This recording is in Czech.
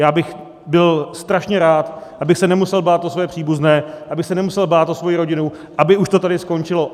Já bych byl strašně rád, abych se nemusel bát o své příbuzné, abych se nemusel bát o svoji rodinu, aby už to tady skončilo.